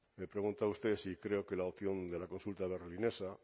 me pregunta usted si creo que la opción de la consulta berlinesa